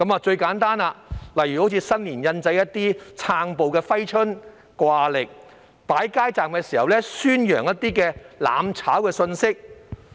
最簡單的例子是在新年印製"撐暴"的揮春和掛曆，以及在擺街站時宣揚"攬炒"的信息。